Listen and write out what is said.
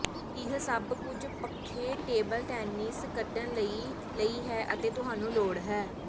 ਇਹ ਸਭ ਕੁਝ ਪੱਖੇ ਟੇਬਲ ਟੈਨਿਸ ਖੇਡਣ ਲਈ ਲਈ ਹੈ ਅਤੇ ਤੁਹਾਨੂੰ ਲੋੜ ਹੈ